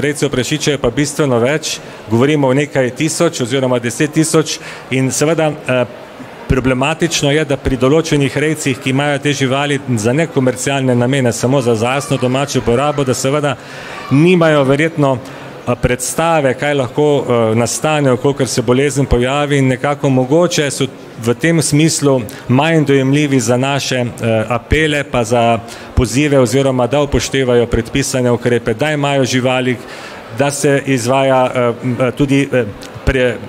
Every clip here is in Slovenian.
rejcev prašičev je pa bistveno več, govorimo o nekaj tisoč oziroma deset tisoč in seveda, problematično je, da pri določenih rejcih, ki imajo te živali za nekomercialne namene samo za lastno domačo uporabo, da seveda nimajo verjetno, predstave, kaj lahko, nastane, v kolikor se bolezen pojavi, in nekako mogoče se v tem smislu manj dojemljivi za naše apele, pa za pozive, oziroma da upoštevajo predpisane ukrepe, da imajo živali, da se izvaja, tudi,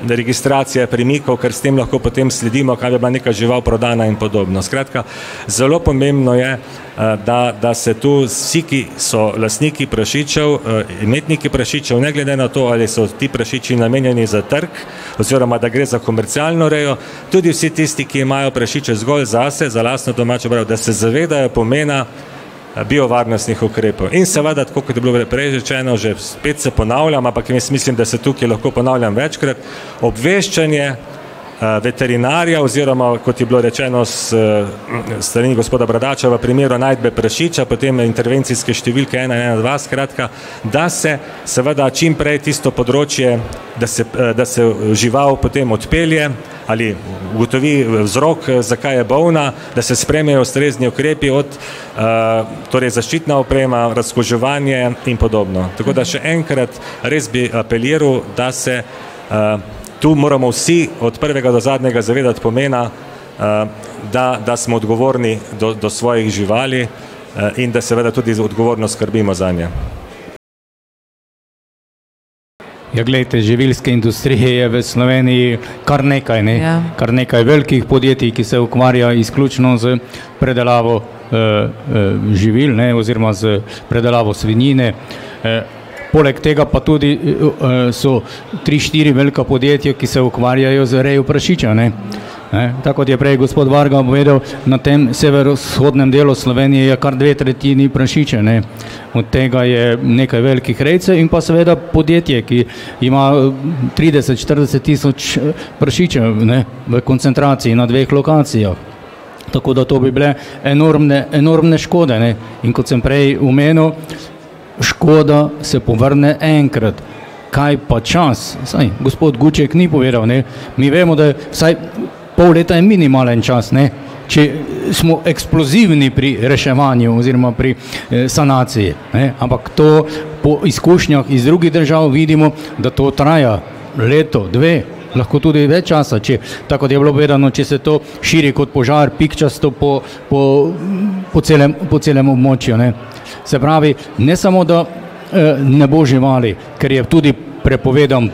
registracija pri njih, kakor s tem lahko potem sledimo, kam je bila neka žival prodana in podobno, skratka, zelo pomembno je, da, da se to vsi, ki so lastniki prašičev, imetniki prašičev, ne glede na to, ali so ti prašiči namenjeni za trg, oziroma da gre za komercialno rejo. Tudi vsi tisti, ki imajo prašiče zgolj zase, za lastno domačo prodajo, da se zavedajo pomena, biovarnostnih ukrepov. In seveda, tako kot je bilo že prej rečeno, že spet se ponavljam, ampak jaz mislim, da se tukaj lahko ponavljam večkrat, obveščanje, veterinarja, oziroma kot je bilo rečeno s strani gospoda Bradača, v primeru najdbe prašiča potem intervencijske številke ena, ena, dva, skratka, da se seveda čim prej tisto področje, da se, da se žival potem odpelje ali ugotovi vzrok, zakaj je bolna, da se sprejmejo ustrezni ukrepi od, torej zaščitna oprema, razkuževanje in podobno, tako da še enkrat, res, bi apeliral, da se, tu moramo vsi od prvega do zadnjega zavedati pomena, da, da smo odgovorni do, do svojih živali, in da seveda tudi odgovorno skrbimo zanje. Ja, glejte, živilske industrije je v Sloveniji kar nekaj, ne, kar nekaj velikih podjetij, ki se ukvarjajo izključno s predelavo, živil, ne, oziroma s predelavo svinjine, poleg tega pa tudi, so tri, štiri velika podjetja, ki se ukvarjajo z rejo prašiča, ne. Ne, tako kot je prej gospod Varga povedal, na tem severovzhodnem delu je kar dve tretjini prašičev, ne. Od tega je nekaj velikih rejcev in pa seveda podjetje, ki ima trideset, štirideset tisoč prašičev, ne, v koncentraciji na dveh lokacijah. Tako da to bi bile enormne, enormne škode, ne. In kot sem prej omenil, škoda se povrne enkrat, kaj pa čas? Saj gospod Guček ni povedal, ne. Mi vemo, da vsaj pol leta je minimalen čas, ne. Če smo eksplozivni pri reševanju oziroma pri, sanaciji, ne, ampak to po izkušnjah iz drugih držav vidimo, da to traja leto, dve, lahko tudi več časa, če tako, kot je bilo povedano, če se to širi kot požar pikčasto po po celem, po celem območju, ne. Se pravi, ne samo da, ne bo živali, ker je tudi prepovedan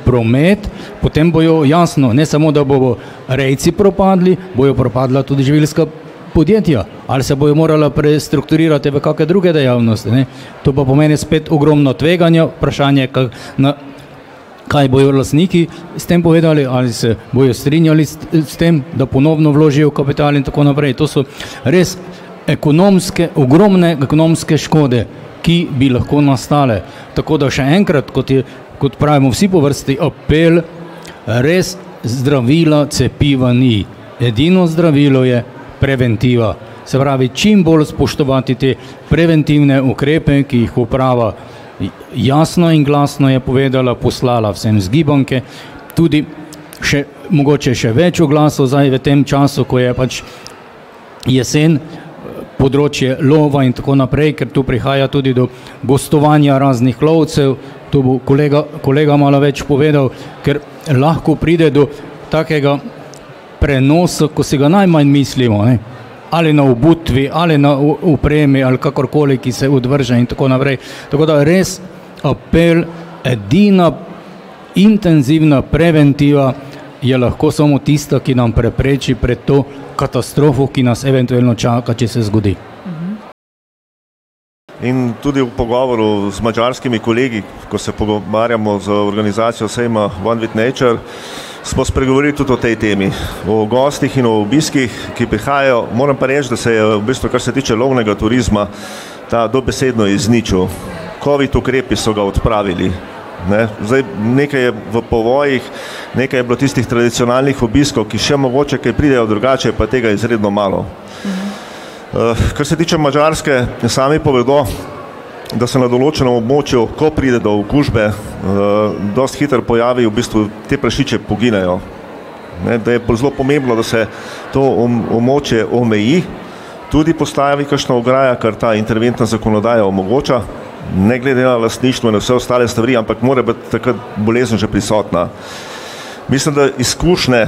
promet, potem bojo, jasno, ne samo da bojo rejci propadli, bojo propadla tudi živilska podjetja. Ali se bojo morala prestrukturirati v kake druge dejavnosti, ne. To pa pomeni spet ogromno tveganja, vprašanje kaj bojo lastniki s tem povedali. Ali se bojo strinjali s, s tem, da ponovno vložijo kapital in tako naprej, to so res ekonomske, ogromne ekonomske škode, ki bi lahko nastale. Tako da še enkrat, kot je, kot pravimo vsi po vrsti, apel, res zdravila, cepiva ni. Edino zdravilo je preventiva, se pravi, čim bolj spoštovati te preventivne ukrepe, ki jih uprava jasno in glasno je povedala, poslala vsem zgibanke, tudi še mogoče še več oglasov zdaj v tem času, ko je pač jesen, področje lova in tako naprej, ker to prihaja tudi do gostovanja raznih lovcev, to bo kolega, kolega malo več povedal, ker lahko pride do takega prenosa, ko si ga najmanj mislimo, ne, ali na obutvi ali na opremi ali kakorkoli, ki se odvrže in tako naprej. Tako da res apel: edina intenzivna preventiva je lahko samo tista, ki nam prepreči pred to katastrofo, ki nas eventuelno čaka, če se zgodi. In tudi v pogovoru z madžarskimi kolegi, ko se pogovarjamo za organizacijo sejma Nature, smo spregovorili tudi o tej temi o gostih in o obiskih, ki prihajajo, moram pa reči, da se je v bistvu, kar se tiče lovnega turizma, ta dobesedno izničil. Covid ukrepi so ga odpravili, ne. Zdaj nekaj je v povojih nekaj je bilo tistih tradicionalnih obiskov, ki še mogoče kaj pridejo, drugače je pa tega izredno malo. kar se tiče Madžarske, naj sami povedo, da so na določenem območju, ko pride do okužbe, dosti hitro pojavi, v bistvu ti prašiči poginejo, ne, da je bilo zelo pomembno, da se to območje omeji, tudi postavi kakšna ograja, ker ta interventna zakonodaja omogoča. Ne glede na lastništvo, na vse ostale stvari, ampak mora biti takrat bolezen že prisotna. Mislim, da izkušnje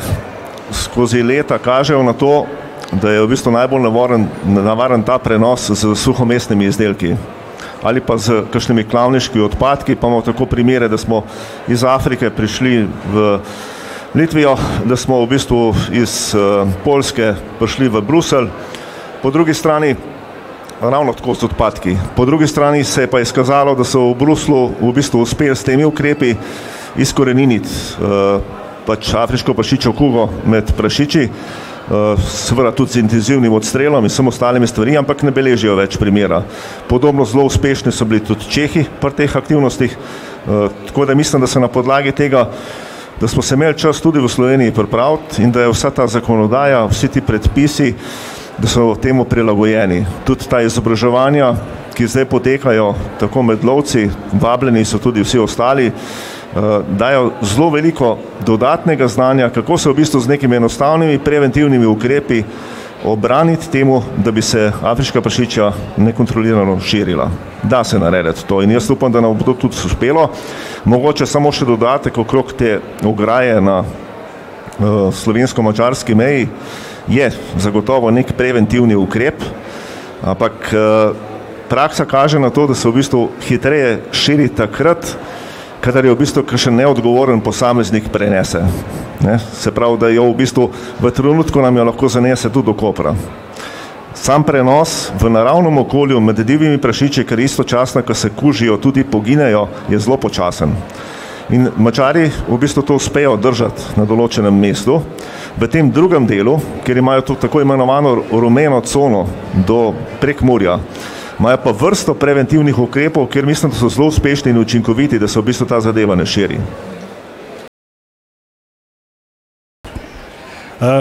skozi leta kažejo na to, da je v bistvu najbolj nevaren, nevaren ta prenos s suhomesnimi izdelki. Ali pa s kakšnimi klavniškimi odpadki, pa imamo tako primere, da smo iz Afrike prišli v Litvo, da smo v bistvu iz, Poljske prišli v Bruselj. Po drugi strani ravno tako z odpadki. Po drugi strani se je pa izkazalo, da so v Bruslju v bistvu uspeli s temi ukrepi izkoreniniti, pač afriško prašičjo kugo med prašiči. seveda tudi z intenzivnim odstrelom in vsemi ostalimi stvarmi, ampak ne beležijo več primera. Podobno zelo uspešni so bili tudi Čehi pri teh aktivnostih. tako da mislim, da se na podlagi tega, da smo se imeli čas tudi v Sloveniji pripraviti in da je vsa ta zakonodaja, vsi ti predpisi, da so temu prilagojeni, tudi ta izobraževanja, ki zdaj potekajo, tako med lovci, vabljeni so tudi vsi ostali, dajo zelo veliko dodatnega znanja, kako se v bistvu z nekimi enostavnimi preventivnimi ukrepi obraniti temu, da bi se afriška prašičja nekontrolirano širila. Da se narediti to in jaz upam, da nam bo to tudi uspelo. Mogoče samo še dodatek okrog te ograje na, slovensko-madžarski meji. Je zagotovo neki preventivni ukrep, ampak, praksa kaže na to, da se v bistvu hitreje širi takrat, kadar jo v bistvu kakšen neodgovoren posameznik prinese ne, se pravi, da jo v bistvu, v trenutku nam jo lahko zanese tudi do Kopra. Sam prevoz v naravnem okolju, med divjimi prašiči, ker istočasno, ke se kužijo, tudi poginejo, je zelo počasen. In Madžari v bistvu to uspejo držati na določenem mestu v tem drugem delu, kjer imajo to tako imenovano rumeno cono do Prekmurja, imajo pa vrsto preventivnih ukrepov, kjer mislim, da so zelo uspešni in učinkoviti, da se v bistvu ta zadeva ne širi.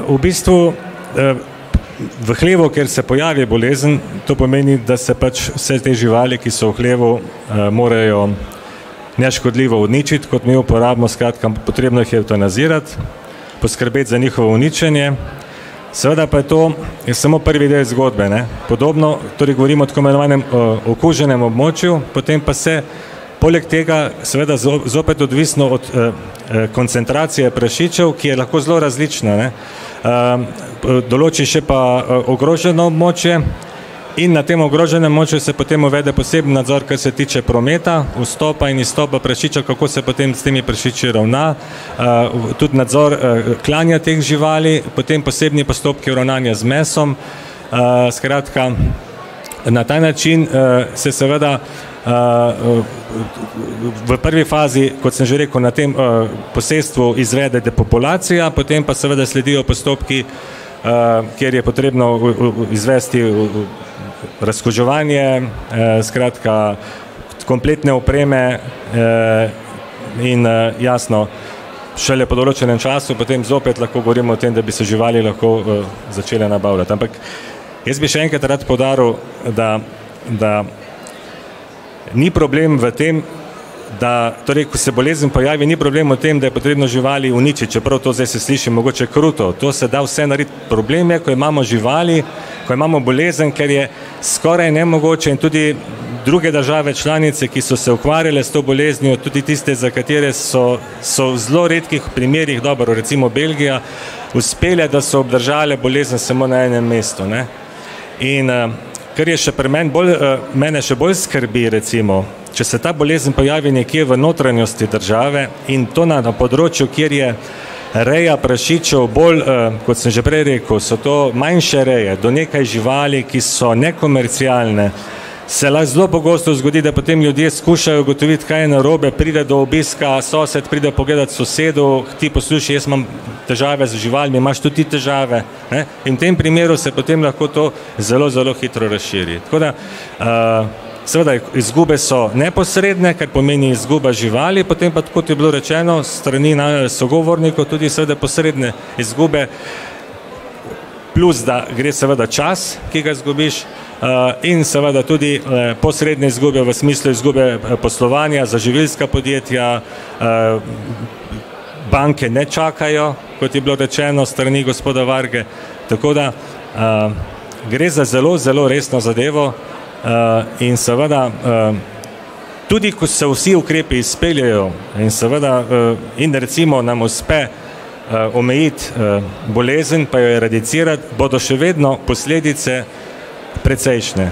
v bistvu, v hlevu, kjer se pojavi bolezen, to pomeni, da se pač vse te živali, ki so v hlevu, morajo neškodljivo uničiti, kot mi uporabimo, skratka, potrebno jih je evtanazirati. Poskrbeti za njihovo uničenje. Seveda pa je to, je samo prvi del zgodbe, ne. Podobno, torej govorimo o tako imenovanem okuženem območju, potem pa se poleg tega seveda zopet odvisno od, koncentracije prašičev, ki je lahko zelo različna, ne. določi še pa ogroženo območje in na tem ogroženem območju se potem uvede posebni nadzor, kar se tiče prometa, vstopa in izstopa prašičev, kako se potem s temi prašiči ravna, tudi nadzor, klanja teh živali, potem posebni postopki ravnanja z mesom. skratka, na ta, način se seveda, v prvi fazi, kot sem že rekel, na tem, posestvu izvede depopulacija potem pa seveda sledijo postopki, kjer je potrebno izvesti razkuževanje, skratka, kompletne opreme, in, jasno, šele po določenem času potem zopet lahko govorimo o tem, da bi se živali lahko, začele nabavljati, ampak jaz bi še enkrat rad poudaril, da, da ni problem v tem, da torej, ko se bolezen pojavi, ni problem v tem, da je potrebno živali uničiti, čeprav to zdaj se sliši mogoče kruto, to se da vse narediti. Problem je, ko imamo živali, ko imamo bolezen, ker je skoraj nemogoče in tudi druge države članice, ki so se ukvarjale s to boleznijo, tudi tiste, za katere so, so v zelo redkih primerih, dobro, recimo Belgija uspele, da so obdržale bolezen samo na enem mestu, ne. In, kar je še pri meni bolj, mene še bolj skrbi recimo, če se ta bolezen pojavi nekje v notranjosti države in to na področju, kjer je reja prašičev bolj, kot sem že prej rekel, so to manjše reje živali do nekaj živali, ki so nekomercialne. Se lahko zelo pogosto zgodi, da potem ljudje skušajo ugotoviti, kaj je narobe, pridejo do obiska, sosed pride pogledat k sosedu. "Ti poslušaj, jaz imam težave z živalmi, imaš tudi ti težave, ne?" In v tem primeru se potem lahko to zelo, zelo hitro razširi, tako da, seveda izgube so neposredne, ker pomeni izguba živali, potem pa, kot je bilo rečeno s strani sogovornikov, tudi seveda posredne izgube, plus, da gre seveda čas, ki ga izgubiš. in seveda tudi, posredne izgube v smislu izgube poslovanja za živilska podjetja, banke ne čakajo, kot je bilo rečeno s strani gospoda Varge, tako da, gre za zelo, zelo resno zadevo. in seveda, tudi, ko se vsi ukrepi izpeljejo in seveda, in recimo nam uspe, omejiti, bolezen pa jo eradicirati, bodo še vedno posledice precejšnje.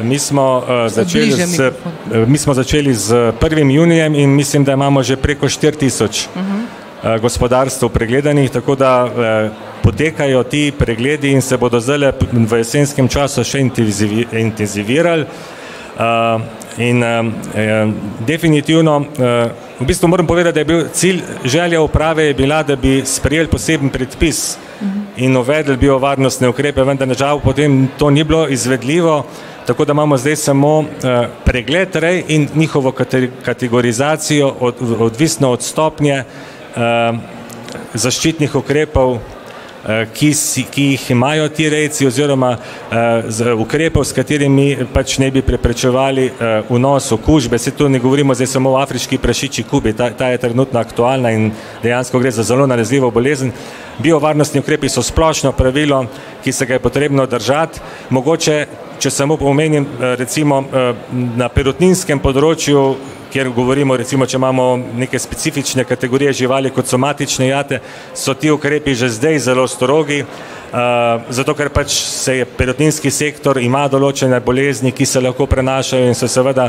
mi smo, začeli s, mi smo začeli s prvim junijem in mislim, da imamo že preko štiri tisoč, gospodarstev pregledanih, tako da, potekajo ti pregledi in se bodo zdajle v jesenskem času še intenzivirali. in, definitivno, v bistvu moram povedati, da je bil cilj, želja uprave je bila, da bi sprejeli poseben predpis in uvedli biovarnostne ukrepe, vendar nam žal potem to ni bilo izvedljivo. Tako da imamo zdaj samo, pregled rej in njihovo kategorizacijo, odvisno od stopnje. zaščitnih ukrepov, ki si, ki jih imajo ti rejci, oziroma, zaradi ukrepov, s katerimi, pač ne bi preprečevali, vnos okužbe, saj to ne govorimo zdaj samo o afriški prašičji kugi, ta, ta je trenutno aktualna in dejansko gre za zelo nalezljivo bolezen. Biovarnostni ukrepi so splošno pravilo, ki se ga je potrebno držati, mogoče, če samo omenim, recimo, na perutninskem področju, kjer govorimo recimo, če imamo neke specifične kategorije živali, kot so matične jate, so ti ukrepi že zdaj zelo strogi, zato ker pač se je perutninski sektor, ima določene bolezni, ki se lahko prenašajo in se seveda,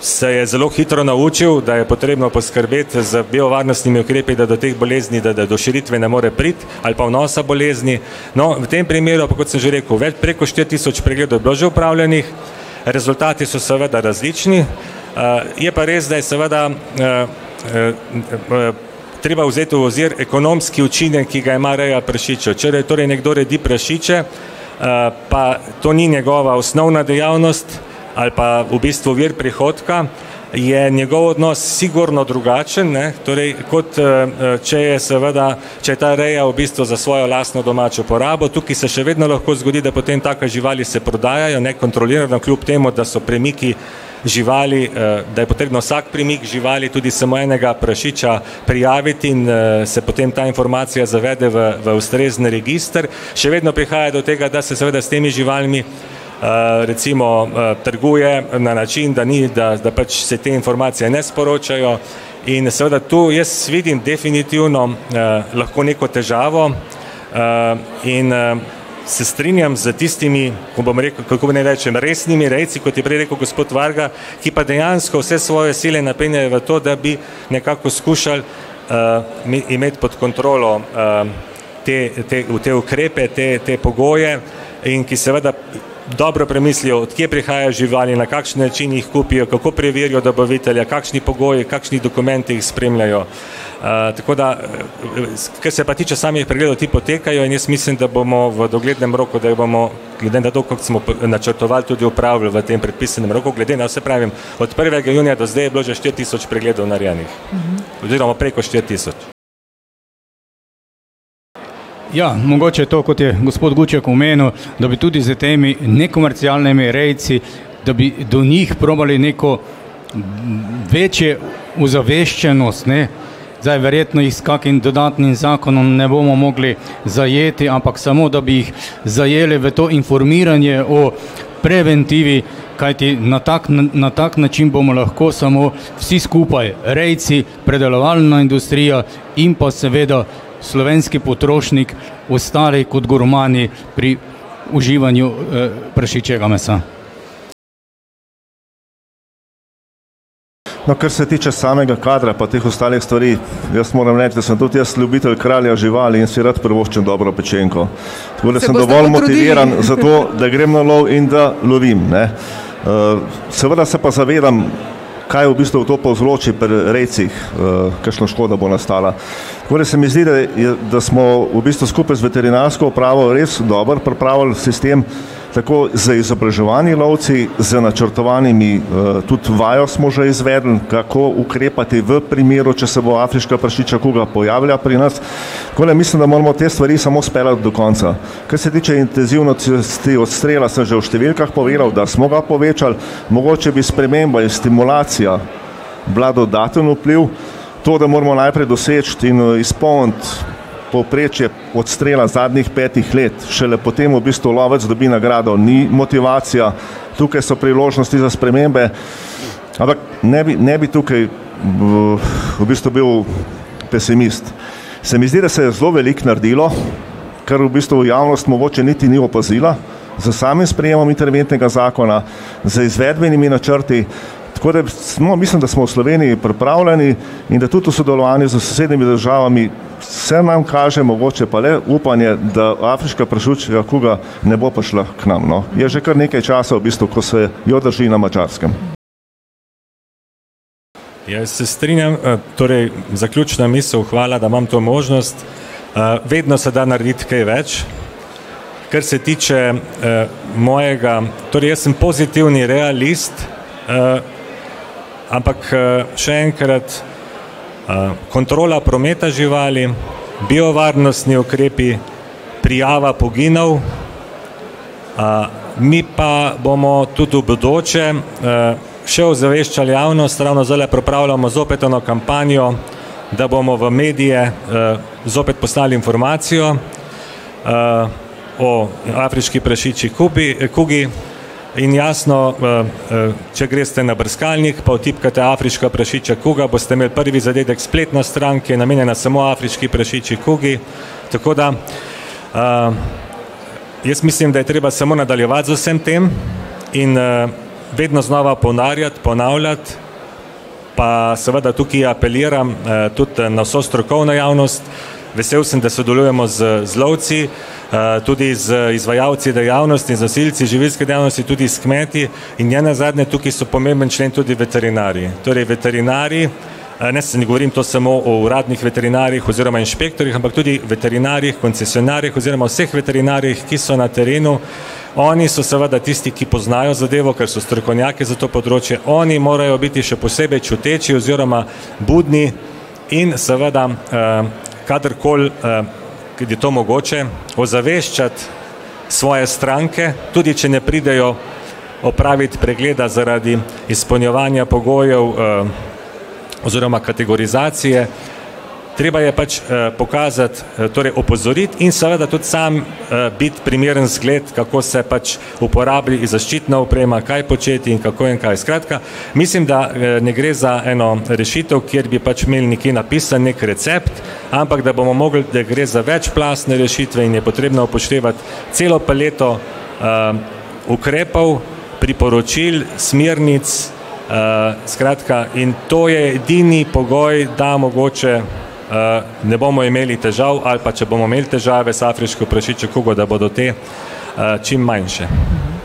se je zelo hitro naučil, da je potrebno poskrbeti z biovarnostnimi ukrepi, da do teh bolezni da, da do širitve ne more priti. Ali pa vnosa bolezni, no, v tem primeru pa, kot sem že rekel, preko štiri tisoč pregledov je bilo že opravljenih, rezultati so seveda različni. je pa res, da je seveda, treba vzeti v ozir ekonomski učinek, ki ga ima reja prašičev. Če torej nekdo redi prašiče, pa to ni njegova osnovna dejavnost ali pa v bistvu vir prihodka, je njegov odnos sigurno drugačen, ne, torej kot, če je seveda, če je ta reja v bistvu za svojo lastno domačo uporabo, tukaj se še vedno lahko zgodi, da potem take živali se prodajajo nekontrolirano, kljub temu da so premiki živali, da je potrebno vsak premik živali tudi samo enega prašiča, prijaviti in, se potem ta informacija zavede, v, v ustrezni register. Še vedno prihaja do tega, da se seveda s temi živalmi, recimo, trguje na način, da ni, da, da pač se te informacije ne sporočajo in seveda tu jaz vidim definitivno, lahko neko težavo, in, se strinjam s tistimi, ko bom rekel, kako naj rečem, resnimi rejci, kot je prej rekel gospod Varga, ki pa dejansko vse svoje sile napenjajo v to, da bi nekako skušali, imeti pod kontrolo, Te, te, te ukrepe te, te pogoje, in ki seveda dobro premislijo, od kje prihajajo živali, na kakšen način jih kupijo, kako preverijo dobavitelja, kakšni pogoji, kakšni dokumenti jih spremljajo, tako da, ke se pa tiče samih pregledov, ti potekajo in jaz mislim, da bomo v doglednem roku, da bomo glede na to, kako smo načrtovali, tudi opravili v tem predpisanem roku, glede na, saj pravim, od prvega junija do zdaj je bilo že štiri tisoč pregledov narejenih. Oziroma preko štiri tisoč. Ja, mogoče to, kot je gospod Guček omenil, da bi tudi s temi nekomercialnimi rejci, da bi do njih probali neko večjo ozaveščenost, ne. Zdaj verjetno s kakim dodatnim zakonom ne bomo mogli zajeti, ampak samo, da bi jih zajeli v to informiranje o preventivi, kajti na tak, na tak način bomo lahko samo vsi skupaj rejci, predelovalna industrija in pa seveda slovenski potrošnik ostali kot gurmani pri uživanju, prašičjega mesa. No, kar se tiče samega kadra pa teh ostalih stvari, jaz moram reči, da sem tudi jaz ljubitelj kralja živali in si rad privoščim dobro pečenko. Tako da sem dovolj motiviran za to, da grem na lov in da lovim, ne. seveda se pa zavedam, kaj v bistvu to povzroči pri rejcih, kakšno škodo, bo nastala. Tako da se mi zdi, da je, da smo v bistvu skupaj z veterinarsko upravo res dobro pripravili sistem tako z izobraževanji lovcev z načrtovanimi, tudi vajo smo že izvedli, kako ukrepati v primeru, če se bo afriška prašičja kuga pojavila pri nas. Tako da mislim, da moramo te stvari samo speljati do konca. Kar se tiče intenzivnosti odstrela, sem že v številkah povedal, da smo ga povečali. Mogoče bi sprememba in stimulacija bila dodaten vpliv. To, da moramo najprej doseči in izpolniti povprečje odstrela zadnjih petih let, šele potem v bistvu lovec dobi nagrado, ni motivacija, tukaj so priložnosti za spremembe, ampak ne bi, ne bi tukaj v bistvu bil pesimist. Se mi zdi, da se je zelo veliko naredilo, ker v bistvu javnost mogoče niti ni opazila s samim sprejemom interventnega zakona, z izvedbenimi načrti, tako da smo, mislim, da smo v Sloveniji pripravljeni in da tu v sodelovanju s sosednjimi državami se nam kaže mogoče pa le upanje, da afriška prašičja kuga ne bo prišla k nam, no. Je že kar nekaj časa v bistvu, ko se jo drži na Madžarskem. Ja, se strinjam, torej zaključna misel, hvala, da imam to možnost. vedno se da narediti kaj več, kar se tiče, mojega, torej jaz sem pozitivni realist, ampak, še enkrat, kontrola prometa živali biovarnostni ukrepi, prijava poginov, mi pa bomo tudi v bodoče še ozaveščali javnost, ravno zdajle pripravljamo zopet eno kampanjo, da bomo v medije, zopet poslali informacijo, po afriški prašičji kubi, kugi. In jasno, če greste na brskalnik pa vtipkate afriška prašičja kuga, boste imeli prvi zadetek spletno stran, ki je namenjena samo afriški prašičji kugi, tako da, jaz mislim, da je treba samo nadaljevati z vsem tem in, vedno znova ponarjat, ponavljati pa seveda tukaj apeliram, tudi na vso strokovno javnost, vesel sem da sodelujemo z, z lovci, tudi z izvajalci dejavnosti, z nosilci živilske dejavnosti in tudi s kmeti in nenazadnje tukaj so pomemben člen tudi veterinarji. Torej veterinarji, ne ne govorim to samo o uradnih veterinarjih oziroma inšpektorjih, ampak tudi veterinarjih, koncesionarjih oziroma vseh veterinarjih, ki so na terenu. Oni so seveda tisti, ki poznajo zadevo, ker so strokovnjaki za to področje, oni morajo biti še posebej čuteči oziroma budni in seveda, kadarkoli, je to mogoče, ozaveščati svoje stranke, tudi če ne pridejo opraviti pregleda, zaradi izpolnjevanja pogojev, oziroma kategorizacije. Treba je pač, pokazati, torej opozoriti in seveda tudi sam, biti primeren zgled, kako se pač uporabi zaščitna oprema, kaj početi in kako in kaj, skratka, mislim, da, ne gre za eno rešitev, kjer bi pač imeli nekje napisan neki recept, ampak da bomo mogli, da gre za večplastne rešitve in je potrebno upoštevati celo paleto, ukrepov, priporočil, smernic, skratka in to je edini pogoj, da mogoče, ne bomo imeli težav ali pa, če bomo imeli težave z afriško prašičjo kugo, da bodo te, čim manjše.